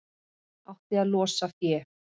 Átti að losa fé